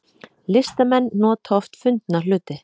Listamenn nota oft fundna hluti